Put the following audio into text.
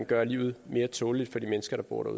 gøre livet mere tåleligt for de mennesker der bor der